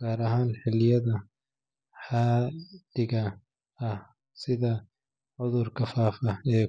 gaar ahaan xilliyada xaaddiga ah sida cudurka faafa ee.